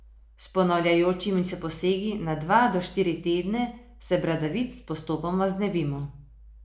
S ponavljajočimi se posegi na dva do štiri tedne se bradavic postopoma znebimo.